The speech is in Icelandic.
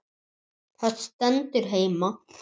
Það stendur heima.